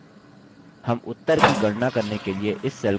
हम उत्तर की गणना करने के लिए इस cell का उपयोग करेंगे